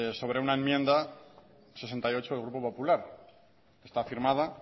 sobre una enmienda sesenta y ocho del grupo popular está firmada